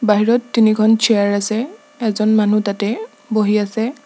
বাহিৰত তিনিখন চেয়াৰ আছে এজন মানুহ তাতে বহি আছে।